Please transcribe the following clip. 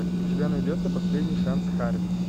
у тебя найдется последний шанс харви